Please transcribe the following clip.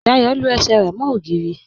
Dáyọ lú ẹṣẹ̀ rẹ mo ogìrì